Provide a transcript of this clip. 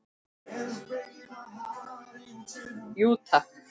Jú takk!